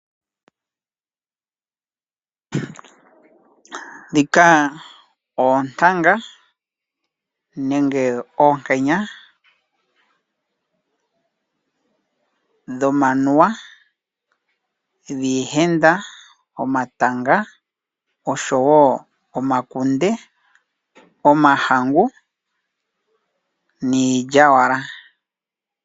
Ndhika oontanga nenge oonkenya dhomanuwa, dhiihenda, omatanga, omakunde, omahangu nosho wo iilyalyaka.